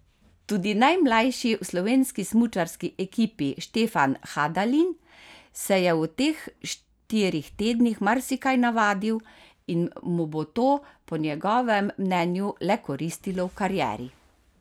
Tudi najmlajši v slovenski smučarski ekipi Štefan Hadalin se je v teh štirih tednih marsikaj navadil in mu bo to po njegovem mnenju le koristilo v karieri.